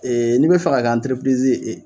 n'i be fɛ ka kɛ ye